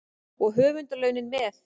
Og höfundarlaunin með.